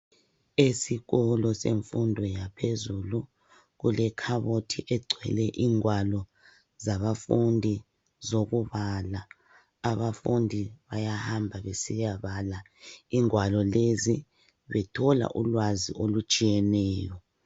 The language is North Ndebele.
Ezikolo semfundo yaphezulu kulekhabothi egcwele ingwalo zabafundi zokubala. Abafundi bayahamba besiyabala ingwalo lezi bethola ulwazi olutshiyeneyo.